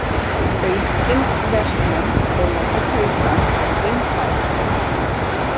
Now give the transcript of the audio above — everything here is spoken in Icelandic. Aukin verslun og lopapeysan vinsæl